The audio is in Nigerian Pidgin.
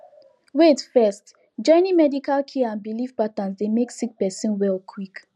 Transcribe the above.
wait first joining medical care and belief patterns dey make sick person well quick